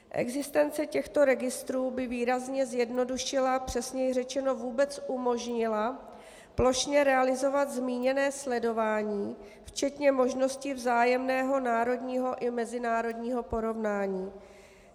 Existence těchto registrů by výrazně zjednodušila, přesněji řečeno vůbec umožnila plošně realizovat zmíněné sledování včetně možnosti vzájemného národního i mezinárodního porovnání.